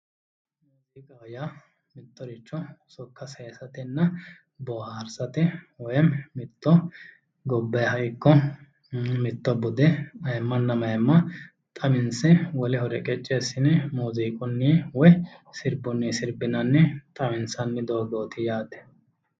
Muziiqaho yaa mittoricho sokka saysatenna woyimi mitto gobbaha ikko mitto bude mayimanna mayimma xawinse woleho reqqeci assine muziiqunni woyi sirbunni sirbinanni sayinsanni doogoti yaate.